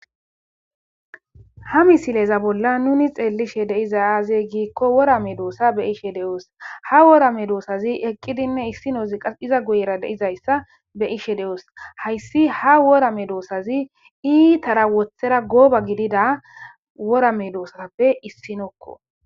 Ha misileza bolla nuni xeellishe deiza aazey giikko worame doossa be ishe de7oos ha worame doosazi eqqidinne issinozi qas iza guyera deizayssa be ishe de7oos hayssi ha wora me doosazi iitara woththera gooba gidida worame doosaappe issinokko.